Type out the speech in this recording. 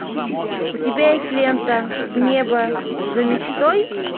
у тебя есть лента в небо за мечтой